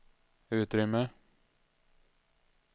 utrymme